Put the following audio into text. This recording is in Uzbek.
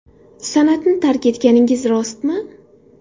San’atni tark etganingiz rostmi?